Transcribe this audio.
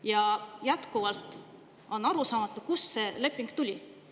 Ja jätkuvalt on arusaamatu, kust see leping tuli!